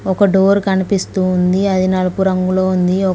ఒక డోరు కనిపిస్తోంది అది నలుపు రంగులో ఉంది ఒక--